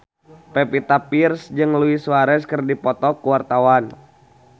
Pevita Pearce jeung Luis Suarez keur dipoto ku wartawan